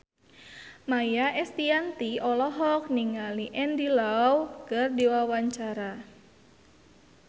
Maia Estianty olohok ningali Andy Lau keur diwawancara